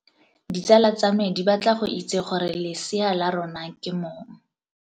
Ditsala tsa me di batla go itse gore lesea la rona ke mong.